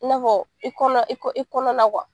In'a fɔ i kɔnɔ i kɔ i kɔnɔ na